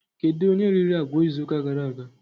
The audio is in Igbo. Kedụ onye riri agwa izu ụka gara aga?